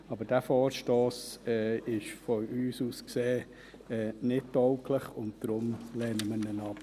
Aber dieser Vorstoss ist aus unserer Sicht nicht tauglich, und deshalb lehnen wir ihn ab.